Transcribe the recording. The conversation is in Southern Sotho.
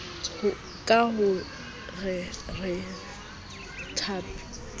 ka ho re ke thapedi